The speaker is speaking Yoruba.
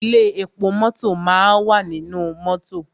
Ilé epo mọ́tọ̀ máa wà nínú mọ́tọ̀.